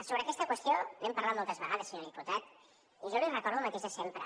sobre aquesta qüestió n’hem parlat moltes vegades senyor diputat i jo li recordo el mateix de sempre